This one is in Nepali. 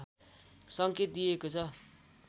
संकेत दिइएको छ